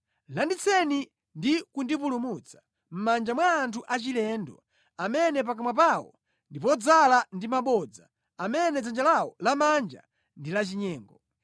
Landitseni ndi kundipulumutsa, mʼmanja mwa anthu achilendo, amene pakamwa pawo ndi podzaza ndi mabodza, amene dzanja lawo lamanja ndi lachinyengo.